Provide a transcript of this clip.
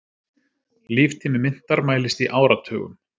Líftími myntar mælist í áratugum.